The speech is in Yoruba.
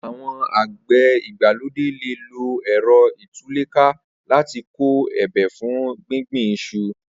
Awọn ágbẹ̀ igbàlódé lé ló ẹrọ itulèká làtí kọ ébé fún gbingbin iṣu